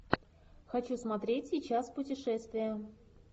хочу смотреть сейчас путешествия